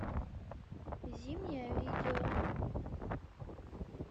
зимняя видео